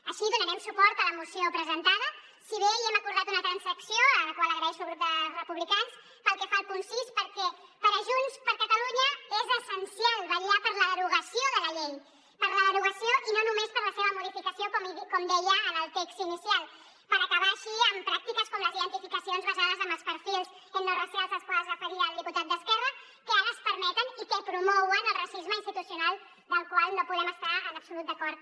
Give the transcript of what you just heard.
així donarem suport a la moció presentada si bé hi hem acordat una transacció la qual agraeixo al grup de republicans pel que fa al punt sis perquè per junts per catalunya és essencial vetllar per la derogació de la llei per la derogació i no només per la seva modificació com deia en el text inicial per acabar així amb pràctiques com les identificacions basades en els perfils etnoracials als quals es referia el dipu·tat d’esquerra que ara es permeten i que promouen el racisme institucional amb el qual no podem estar en absolut d’acord